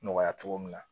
Nɔgɔya cogo min na